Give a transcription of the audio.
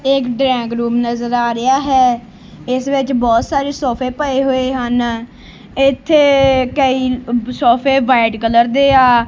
ਇਕ drawing room ਨਜ਼ਰ ਆ ਰਿਹਾ ਹੈ ਇਸ ਵਿੱਚ ਬਹੁਤ ਸਾਰੇ ਸੋਫੇ ਪਏ ਹੋਏ ਹਨ ਇੱਥੇ ਕਈ ਸੋਫੇ ਵਾਈਟ ਕਲਰ ਦੇ ਹਾਂ